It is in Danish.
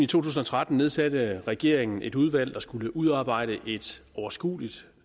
tusind og tretten nedsatte regeringen et udvalg der skulle udarbejde et overskueligt